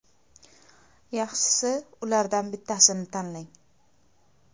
Yaxshisi, ulardan bittasini tanlang.